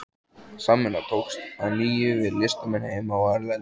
Samvinna tókst að nýju við listamenn heima og erlendis.